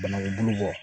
Banaku bulu bɔ